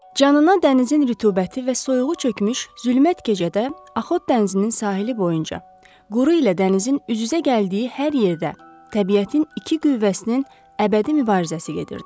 Canına dənizin rütubəti və soyuğu çökmüş zülmət gecədə Axot dənizinin sahili boyunca, quru ilə dənizin üz-üzə gəldiyi hər yerdə təbiətin iki qüvvəsinin əbədi mübarizəsi gedirdi.